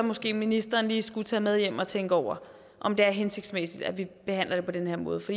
måske ministeren lige skulle tage det med hjem og tænke over om det er hensigtsmæssigt at vi behandler det på den her måde for